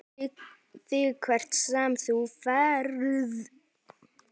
ÞIG HVERT SEM ÞÚ FERÐ.